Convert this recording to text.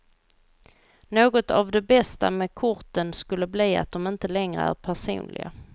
Något av det bästa med korten skulle bli att de inte längre är personliga.